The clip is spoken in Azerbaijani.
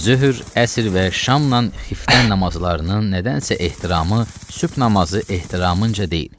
Zöhr, əsr və şamnan xiftən namazlarının nədənsə ehtiramı sübh namazı ehtiramınca deyil.